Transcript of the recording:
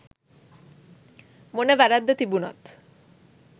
මොන වැරැද්ද තිබුණත්